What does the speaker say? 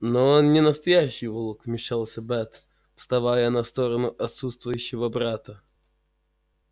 но он не настоящий волк вмешалась бэт вставая на сторону отсутствующего брата